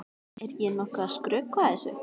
Er ég nokkuð að skrökva þessu?